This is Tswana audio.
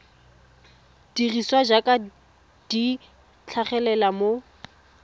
dirisiwa jaaka di tlhagelela mo